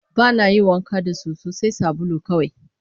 Ba na yin wanka da soso, sai sabulu kawai